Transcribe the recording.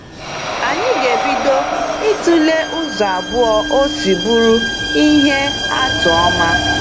Anyị ga-ebido ịtụle ụzọ abụọ o si bụrụ ihe atụ ọma.